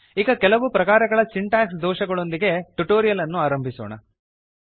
ಈಗ ಕೆಲವು ಪ್ರಕಾರಗಳ ಸಿಂಟಾಕ್ಸ್ ದೋಷಗಳೊಂದಿಗೆ ಟ್ಯುಟೋರಿಯಲ್ ಅನ್ನು ಆರಂಭಿಸೋಣ